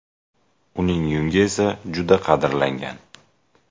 Uning yungi esa juda qadrlangan.